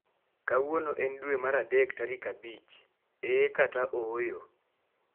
Kawuono en dwe mar adek tarikm abich, eee kata ooyo?